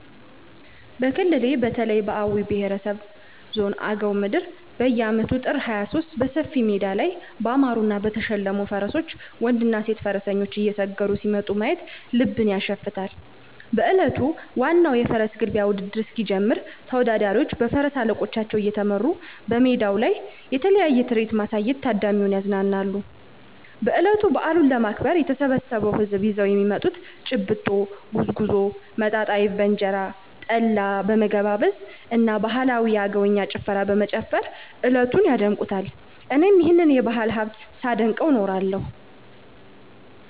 በክልሌ በተለይ በአዊ ብሄረሰብ ዞን አገው ምድር በየአመቱ ጥር 23 በሰፊ ሜዳ ላይ ባማሩና በተሸለሙ ፈረሶች ወንድና ሴት ፈረሰኞች እየሰገሩ ሲመጡ ማየት ልብን ያሸፍታል። በእለቱ ዋናው የፈረስ ግልቢያ ውድድር እስኪጀምር ተወዳዳሪዎቹ በፈረስ አለቆቻቸው እየተመሩ በሜዳው ላይ የተለያየ ትርኢት በማሳየት ታዳሚውን ያዝናናሉ። በእለቱ በአሉን ለማክበር የተሰበሰው ህዝብም ይዘው የሚመጡትን :- ጭብጦ፣ ጉዝጉዞ፣ መጣጣ አይብ በእንጀራ፣ ጠላ በመገባበዝ እና ባህላዊ የአገውኛ ጭፈራ በመጨፈር እለቱን ያደምቁታል። እኔም ይህንን የባህል ሀብት ሳደንቀው እኖራለሁ።